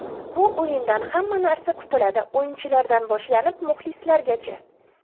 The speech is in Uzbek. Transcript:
Bu o‘yindan hamma narsa kutiladi, o‘yinchilardan boshlanib, muxlislargacha.